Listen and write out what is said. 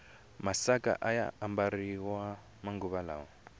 masaka ayaha ambariwa manguva lawa